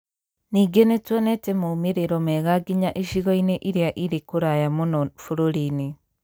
Ningĩ nĩ tuonete moimĩrĩro mega nginya icigo-inĩ iria irĩ kũraya mũno bũrũri-inĩ.